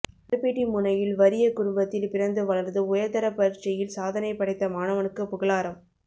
நற்பிட்டிமுனையில் வறிய குடும்பத்தில் பிறந்து வளர்ந்து உயர்தரப் பரீட்சையில் சாதனை படைத்த மாணவனுக்கு புகழாரம்